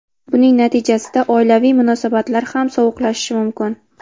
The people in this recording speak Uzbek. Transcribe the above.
Buning natijasida oilaviy munosabatlar ham sovuqlashishi mumkin.